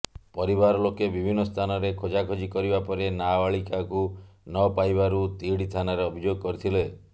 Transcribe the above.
ପରିବାର ଲୋକେ ବିଭିନ୍ନ ସ୍ଥାନରେ ଖୋଜାଖୋଜି କରିବା ପରେ ନାବାଳିକାକୁ ନ ପାଇବାରୁ ତିହିଡ଼ି ଥାନାରେ ଅଭିଯୋଗ କରିଥିଲେ